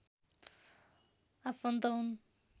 आफन्त हुन्